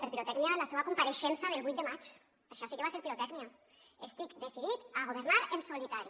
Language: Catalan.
per pirotècnia la seua compareixença del vuit de maig això sí que va ser pirotècnia estic decidit a governar en solitari